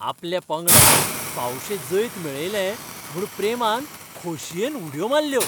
आपल्या पंगडान फावशेें जैत मेळयलें म्हूण प्रेमान खोशयेन उडयो मारल्यो.